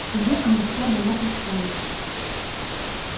в суде она вся была из стали